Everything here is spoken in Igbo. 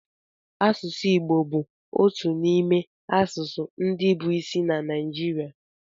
Asụsụ Igbo bụ otu n'ime asụsụ ndị bụ isi na Naịjirịa